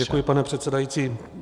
Děkuji, pane předsedající.